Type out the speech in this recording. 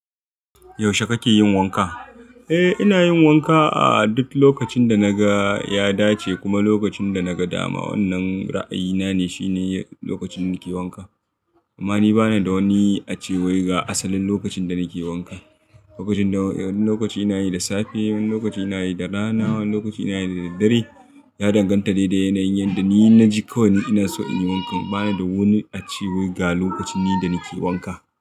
Yaushe kake yin wanka? Eh, ina yin wanka a duk lokacin da na ga ya dace, kuma lokacin da na ga dama. Wannan ra'ayina ne, shine lokacin da nake wanka. Amma ni bana da wani acewar ga asalin lokacin da nake wanka. Wani lokaci ina yi da safe, wani lokaci ina yi da rana, wani lokaci ina yi da daddare. Ya danganta de da yanayin yadda ni na ji kawai ina so in yi wanka. Bana da wani acewar ga lokacin ni da nake wanka.